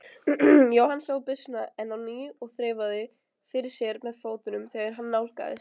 Jóhann hlóð byssuna enn á ný og þreifaði fyrir sér með fótunum þegar hann nálgaðist.